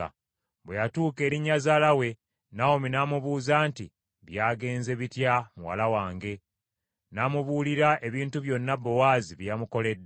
Bwe yatuuka eri nnyazaala we, Nawomi n’amubuuza nti, “Byagenze bitya muwala wange?” N’amubuulira ebintu byonna Bowaazi bye yamukoledde,